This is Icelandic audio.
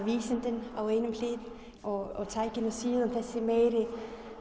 vísindin á einni hlið og tækin og síðan þessi meiri